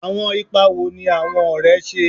Awọn ipa wo ni awọn ọrẹ ṣe?